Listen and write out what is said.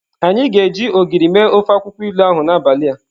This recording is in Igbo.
Anyi ga-eji Ogiri mee ofe akwukwo ilu ahu n'abali a.